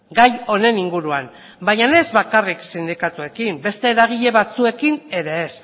gai honen inguruan baina ez bakarrik sindikatuekin beste eragile batzuekin ere ez